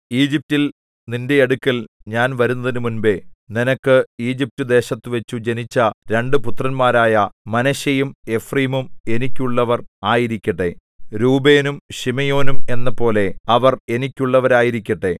ഈജിപ്റ്റിൽ നിന്റെ അടുക്കൽ ഞാൻ വരുന്നതിനുമുമ്പെ നിനക്ക് ഈജിപ്റ്റുദേശത്തുവച്ചു ജനിച്ച രണ്ടു പുത്രന്മാരായ മനശ്ശെയും എഫ്രയീമും എനിക്കുള്ളവർ ആയിരിക്കട്ടെ രൂബേനും ശിമെയോനും എന്നപോലെ അവർ എനിക്കുള്ളവരായിരിക്കട്ടെ